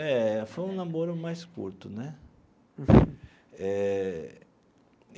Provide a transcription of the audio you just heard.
É, foi um namoro mais curto, né? Eh.